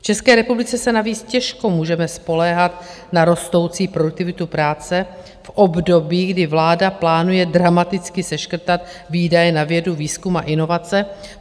V České republice se navíc těžko můžeme spoléhat na rostoucí produktivitu práce v období, kdy vláda plánuje dramaticky seškrtat výdaje na vědu, výzkum a inovace.